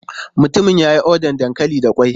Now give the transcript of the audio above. Mutumin ya yi odar dankali da ƙwai.